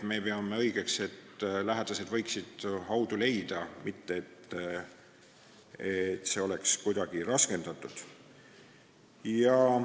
Me peame õigeks, et lähedastel oleks võimalik haudu leida, tahtmata seda kuidagi raskendada.